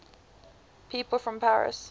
people from paris